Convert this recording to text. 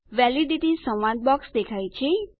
validity સંવાદ box દેખાય છે